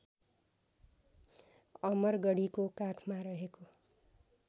अमरगढीको काखमा रहेको